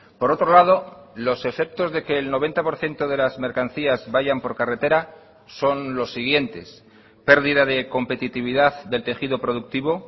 por otro lado los efectos de que el noventa por ciento de las mercancías vayan por carretera son los siguientes pérdida de competitividad del tejido productivo